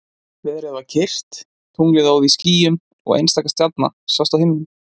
Veðrið var kyrrt, tunglið óð í skýjum og einstaka stjarna sást á himninum.